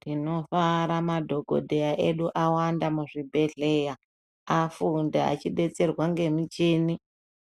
Tinofara madhokodheya edu awanda muzvibhedhleya afunda echidetserwa ngemuchini .